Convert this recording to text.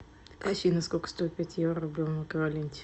афина сколько стоит пять евро в рублевом эквиваленте